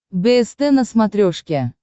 бст на смотрешке